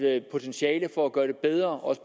er et potentiale for at gøre det bedre